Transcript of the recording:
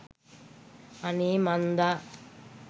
අනේ මන්ද